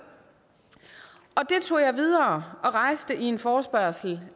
videre og rejste i en forespørgsel